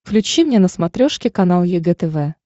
включи мне на смотрешке канал егэ тв